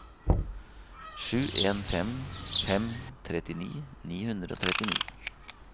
sju en fem fem trettini ni hundre og trettini